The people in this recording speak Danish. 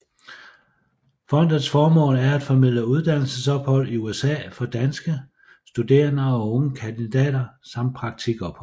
Fondets formål er at formidle uddannelsesophold i USA for danske studerende og unge kandidater samt praktikophold